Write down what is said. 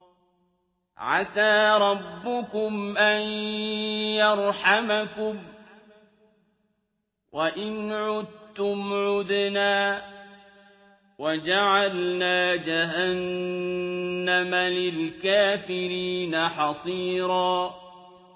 عَسَىٰ رَبُّكُمْ أَن يَرْحَمَكُمْ ۚ وَإِنْ عُدتُّمْ عُدْنَا ۘ وَجَعَلْنَا جَهَنَّمَ لِلْكَافِرِينَ حَصِيرًا